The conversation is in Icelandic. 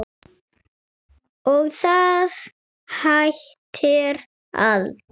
Og það hættir aldrei.